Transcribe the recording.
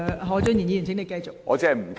何俊賢議員，請繼續發言。